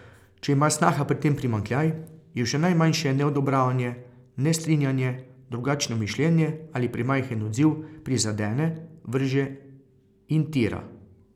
Če ima snaha pri tem primanjkljaj, jo že najmanjše neodobravanje, nestrinjanje, drugačno mišljenje ali premajhen odziv prizadene, vrže in tira.